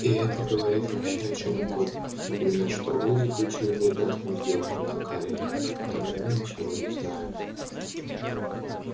и это говорит вообще о чём угодно например что вы заключили прекрасную сделку на кореле о которой мы ничего не знаем